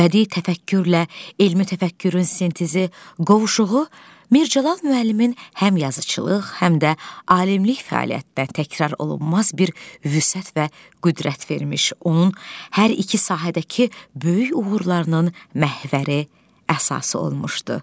Bədii təfəkkürlə elmi təfəkkürün sintezi, qovuşuğu Mirzəcəlal müəllimin həm yazıçılıq, həm də alimlik fəaliyyətində təkrar olunmaz bir vüsət və qüdrət vermiş, onun hər iki sahədəki böyük uğurlarının məhvəri, əsası olmuşdu.